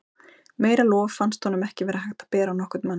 Meira lof fannst honum ekki vera hægt að bera á nokkurn mann.